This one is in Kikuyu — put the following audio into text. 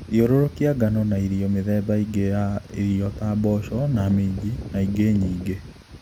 Thiũrũkia ngano na irio mĩthemba ĩngĩ ya irio ta mboco na minji na ingĩ nyingĩ